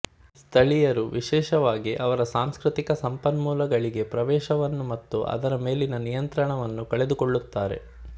ಸ್ಥಳೀಯರು ವಿಶೇಷವಾಗಿ ಅವರ ಸಾಂಸ್ಕೃತಿಕ ಸಂಪನ್ಮೂಲಗಳಿಗೆ ಪ್ರವೇಶವನ್ನು ಮತ್ತು ಅದರ ಮೇಲಿನ ನಿಯಂತ್ರಣವನ್ನು ಕಳೆದುಕೊಳ್ಳುತ್ತಾರೆ